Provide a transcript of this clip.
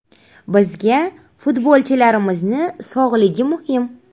Bizga futbolchilarimizni sog‘lig‘i muhim.